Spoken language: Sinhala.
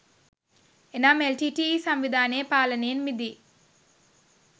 එනම් එල් ටී ටී ඊ සංවිධානයේ පාලනයෙන් මිදී